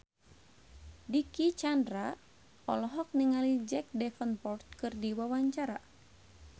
Dicky Chandra olohok ningali Jack Davenport keur diwawancara